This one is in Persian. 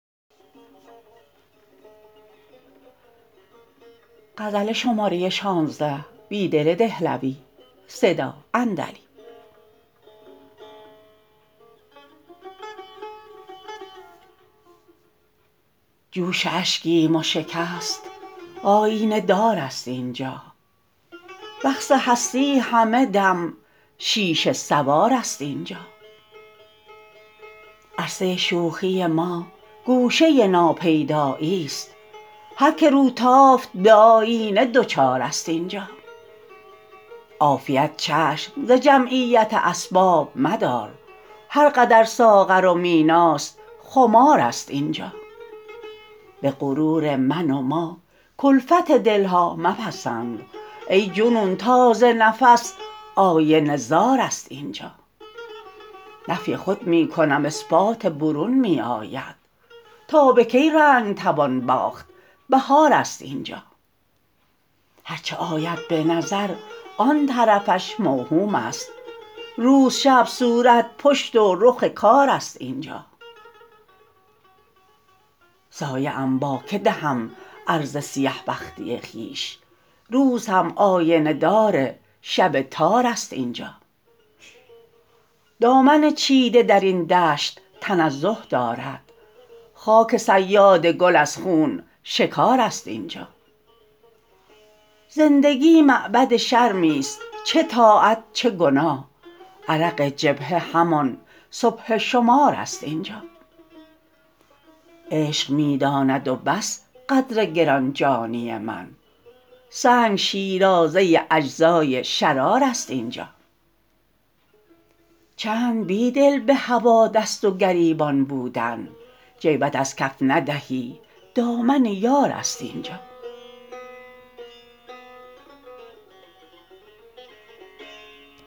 جوش اشکیم وشکست آیینه دار است اینجا رقص هستی همه دم شیشه سوار است اینجا عرصه شوخی ما گوشه ناپیدایی ست هرکه روتافت به آیینه دچار است اینجا عافیت چشم ز جمعیت اسباب مدار هرقدر ساغر و میناست خمار است اینجا به غرور من وماکلفت دلها مپسند ای جنون تاز نفس آینه زار است اینجا نفی خود می کنم اثبات برون می آید تا به کی رنگ توان باخت بهار است اینجا هرچه آید به نظر آن طرفش موهوم است روز شب صورت پشت و رخ کار است اینجا سایه ام باکه دهم عرضه سیه بختی خویش روز هم آینه دار شب تار است اینجا دامن چیده در این دشت تنزه دارد خاک صیادگل از خون شکار است اینجا زندگی معبدشرمی ست چه طاعت چه گناه عرق جبهه همان سبحه شماراست اینجا عشق می داند و بس قدرگرانجانی من سنگ شیرازه اجزای شرار است اینجا چند بیدل به هوا دست وگریبان بودن جیبت ازکف ندهی دامن یار است اینجا